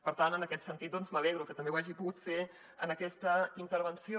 per tant en aquest sentit m’alegro que també ho hagi pogut fer en aquesta intervenció